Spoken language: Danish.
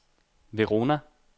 Verona